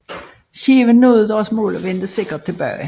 Skibene nåede deres mål og vendte sikkert tilbage